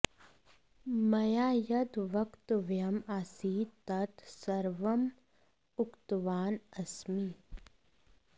मया यद् वक्तव्यम् आसीत् तत् सर्वम् उक्तवान् अस्मि